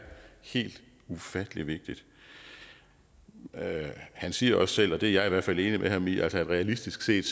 helt ufattelig vigtigt han siger også selv og det er jeg i hvert fald enig med ham i at realistisk set